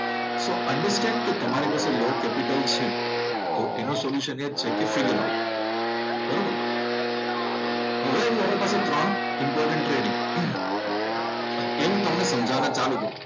સો understand, તમારી પાસે low capital તો એનું સોલ્યુશન એ જ છે કે ફિગર આઉટ. બરોબર? હવે વોટર પાસે ત્રણ ઈમ્પોર્ટન્ટ ટ્રેડ છે, ને હું તમને સમજાવવાનું ચાલુ કરું.